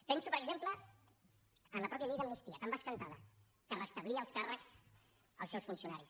penso per exemple en la mateixa llei d’amnistia tan bescantada que restablia els càrrecs als seus funcionaris